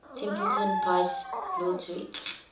templeton prize laureates